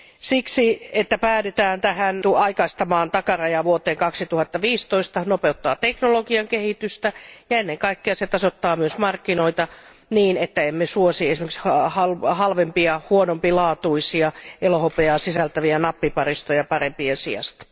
Siksi se, että päädytään aikaistamaan takaraja vuoteen 2015, nopeuttaa teknologian kehitystä, ja ennen kaikkea se tasoittaa myös markkinoita niin, että emme suosi esimerkiksi halvempia ja huonompilaatuisia elohopeaa sisältäviä nappiparistoja parempien sijasta.